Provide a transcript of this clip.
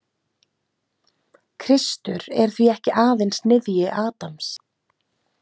Kristur er því ekki aðeins niðji Adams